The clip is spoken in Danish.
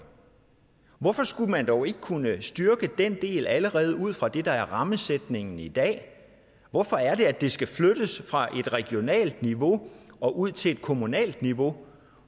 hvorfor skulle man dog ikke kunne styrke den del allerede ud fra det der er rammesætningen i dag hvorfor er det at det skal flyttes fra et regionalt niveau og ud til et kommunalt niveau